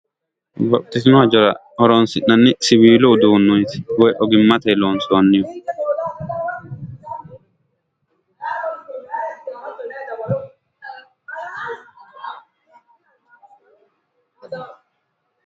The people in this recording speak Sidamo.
babbaxxitino hajjora horoonsinanni siwiilu udduneeti woyi ogimmatenni loonsoonnireeti.